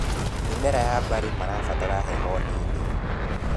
Mĩmera ya mbarĩ marabatara heho nini.